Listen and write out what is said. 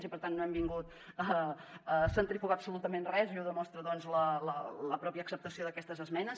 i per tant no hem vingut a centrifugar absolutament res i ho demostra la mateixa acceptació d’aquestes esmenes